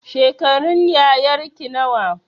Shekarun yayarki nawa